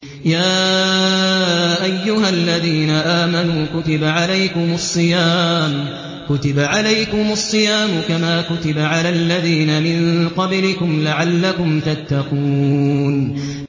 يَا أَيُّهَا الَّذِينَ آمَنُوا كُتِبَ عَلَيْكُمُ الصِّيَامُ كَمَا كُتِبَ عَلَى الَّذِينَ مِن قَبْلِكُمْ لَعَلَّكُمْ تَتَّقُونَ